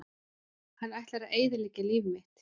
Hann ætlar að eyðileggja líf mitt!